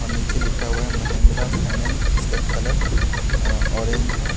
और नीचे लिखा हुआ है महेंद्रा फाइनेंस जिसका कलर अ ऑरेंज है।